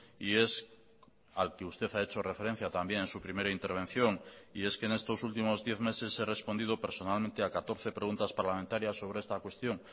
y es al que usted ha hecho referencia también en su primera intervención y es que en estos últimos diez meses he respondido personalmente a catorce preguntas parlamentarias sobre esta cuestión